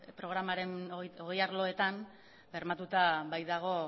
programaren hogei arloetan bermatuta baitago